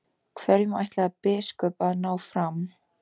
Hverju ætlaði biskup að ná fram?